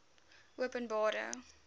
openbare